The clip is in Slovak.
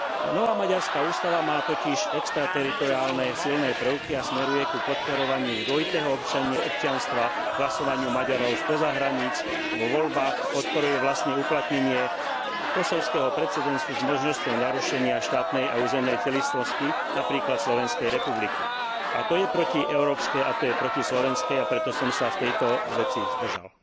Nová maďarská ústava má totiž extrateritoriálne silné prvky a smeruje k podporovaniu dvojitého občianstva, hlasovaniu Maďarov spoza hraníc vo voľbách, podporuje vlastne uplatnenie kosovského precedensu s možnosťou narušenia štátnej a územnej celistvosti, napríklad Slovenskej republiky, a to je protieurópske a to je protislovenské, a preto som sa v tejto veci zdržal.